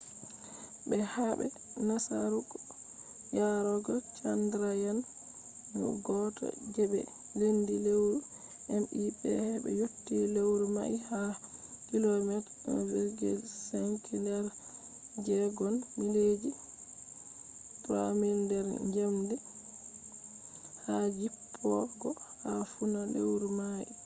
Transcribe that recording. be habe nasaraku yarogo chandrayaan-1 je be lendi lewru mip hebe yotti lewru mai ha kilomeeta 1.5 nder segon mileji 3000 nder njamdi wa di jippogo ha funa lewru mai